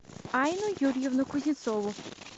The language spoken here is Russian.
айну юрьевну кузнецову